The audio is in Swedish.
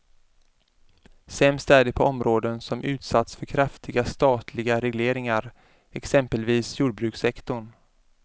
Sämst är det på områden som utsatts för kraftiga statliga regleringar, exempelvis jordbrukssektorn.